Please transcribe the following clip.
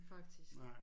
Faktisk